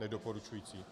Nedoporučující.